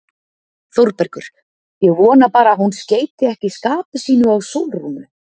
ÞÓRBERGUR: Ég vona bara að hún skeyti ekki skapi sínu á Sólrúnu.